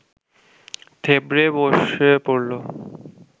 থেবড়ে বসে পড়ল